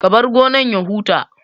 Ka bar gonan ya huta